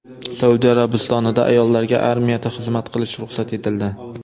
Saudiya Arabistonida ayollarga armiyada xizmat qilish ruxsat etildi.